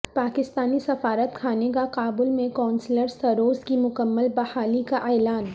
پاکستانی سفارت خانے کا کابل میں قونصلر سروسز کی مکمل بحالی کا اعلان